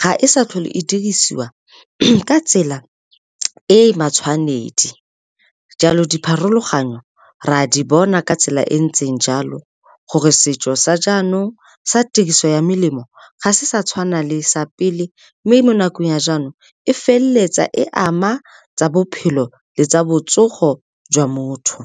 ga e sa tlhole e dirisiwa ka tsela e matshwanedi. Jalo dipharologanyo re a di bona ka tsela e ntseng jalo, gore setso sa jaanong sa tiriso ya melemo ga se sa tshwana le sa pele. Mme mo nakong ya jaanong e feleletsa e ama tsa bophelo le tsa botsogo jwa motho.